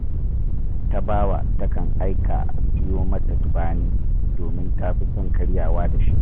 Tabawa takan aika a siyo mata tubani, domin ta fi son karyawa da shi